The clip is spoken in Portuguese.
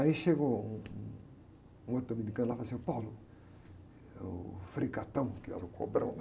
Aí chegou um, um outro dominicano lá e falou assim, ô, é o frei, que era o cobrão lá,